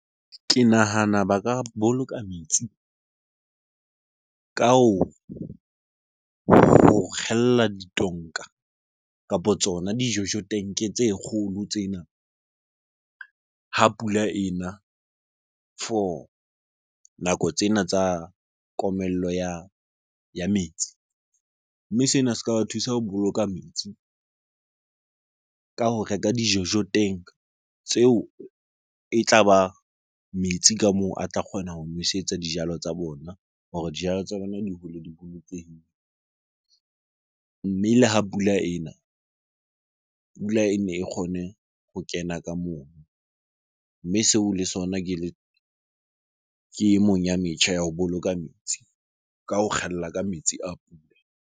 Ke nahana ba ka boloka metsi ka ho kgella ditonka kapo tsona dijojo tank tse kgolo tsena ha pula ena for nako tsena tsa komello ya metsi. Mme sena se ka ba thusa ho boloka metsi ka ho reka dijojo teng tseo e tlaba metsi ka moo a tla kgona ho nwesetsa dijalo tsa bona hore dijalo tsa bona di hole di bolokehile. Mme le ha pula ena, pula ene e kgone ho kena ka mono. Mme seo le sona ke e mong ya metjha ya ho boloka metsi. Ka ho kgella ka metsi a pula.